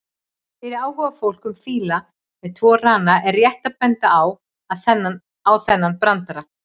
Fyrir áhugafólk um fíla með tvo rana er rétt að benda á þennan brandara: